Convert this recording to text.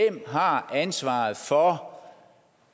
har ansvaret for